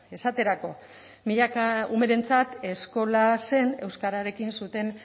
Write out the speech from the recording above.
esaterako milaka umerentzat eskola zen euskararekin zuten